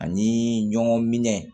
Ani ɲɔgɔn minɛ